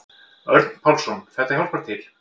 Örn Pálsson: Þetta hjálpar til.